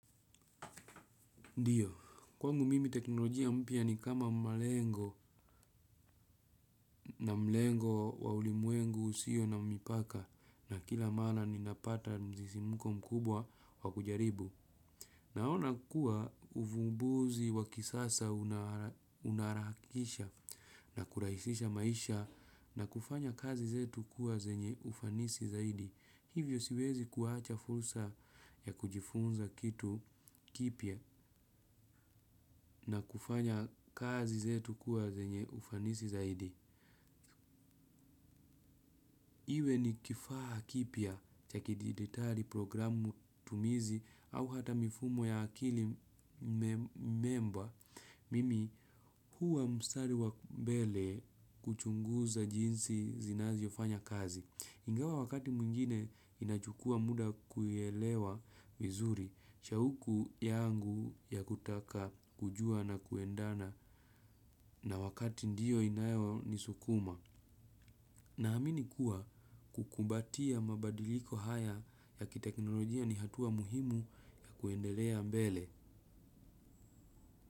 Ndiyo, kwangu mimi teknolojia mpya ni kama malengo na mlengo wa ulimwengu usio na mipaka na kila mara ninapata msisimko mkubwa wa kujaribu. Naona kuwa uvumbuzi wa kisasa unaharakisha na kurahisisha maisha na kufanya kazi zetu kuwa zenye ufanisi zaidi. Hivyo siwezi kuacha fursa ya kujifunza kitu kipya na kufanya kazi zetu kuwa zenye ufanisi zaidi. Iwe ni kifaa kipya cha kidijitali programu tumizi au hata mifumo ya akili mema. Mimi huwa mstari wa mbele kuchunguza jinsi zinazofanya kazi. Ingawa wakati mwingine inachukua muda kuelewa vizuri, shauku yangu ya kutaka kujua na kuendana na wakati ndio inayonisukuma. Naamini kuwa kukumbatia mabadiliko haya ya kiteknolojia ni hatua muhimu ya kuendelea mbele.